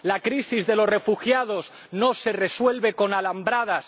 La crisis de los refugiados no se resuelve con alambradas.